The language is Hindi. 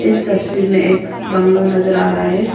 इस तस्वीर में एक बंगलो नजर आ रहा है।